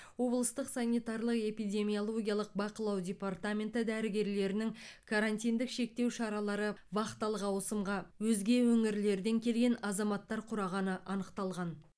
облыстық санитарлы эпидемиологиялық бақылау департаменті дәрігерлерінің карантиндік шектеу шаралары вахталық ауысымға өзге өңірлерден келген азаматтар құрағаны анықталған